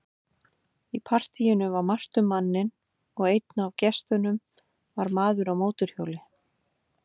Í partíinu var margt um manninn og einn af gestunum var maður á mótorhjóli.